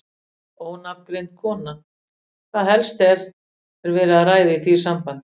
Ónafngreind kona: Hvað helst er, er verið að ræða í því sambandi?